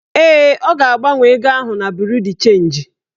Ee, ọ ga-agbanwe ego ahụ na buru chenji